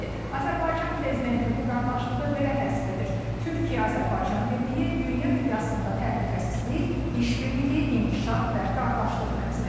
Azərbaycan prezidenti bu qardaşlığı belə təsvir edir: Türkiyə-Azərbaycan birliyi dünya miqyasında təhlükəsizlik, işbirliyi, inkişaf və qardaşlıq rəmsidir.